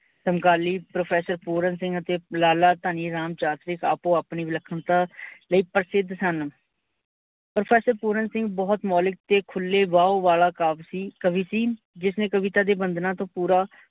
ਸਮਕਾਲੀ professor ਪੂਰਨ ਅਤੇ ਲਾਲਾ ਧਨੀਰਾਮ ਚਾਤਰਿਕ ਆਪੋ ਆਪਣੇ ਵਿਨਖਣਤਾ ਲਈ ਪ੍ਰਸਿਧ ਸਨ। professor ਪੂਰਨ ਸਿੰਘ ਬਹੁਤ ਮੋਲੀਕ ਤੇ ਖੁੱਲੇ ਵਾਓ ਵਾਲਾ ਕਾਵ ਸੀ, ਕਵੀ ਸੀ, ਜਿਸਨੇ ਕਵਿਤਾ ਦੀ ਵੰਦਨਾ ਤੋਂ ਪੂਰਾ